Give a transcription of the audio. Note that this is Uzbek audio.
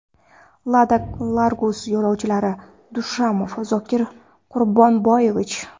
Lada Largus yo‘lovchilari: Dushamov Zokir Quronboyevich.